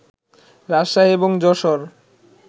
রাজশাহী এবং যশোর